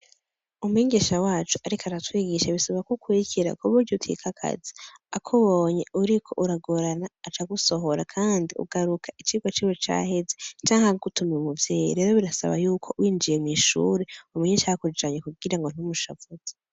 Umwigisha wacu ariko aratwigisha bisaba ko ukurikira ku buryo utikakaza, akubonye uriko uragorana aca agusohora, kandi ugaruka icigwa ciwe caheze, canke akagutuma umuvyeyi rero birasaba yuko winjiye mw'ishure umenye icakujanye kugira ntumushavuze.